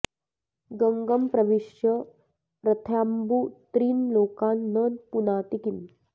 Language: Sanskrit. गङ्गं प्रविश्य रथ्याम्बु त्रीन् लोकान् न पुनाति किम्